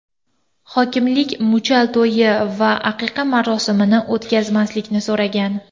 Hokimlik muchal to‘yi va aqiqa marosimini o‘tkazmaslikni so‘ragan.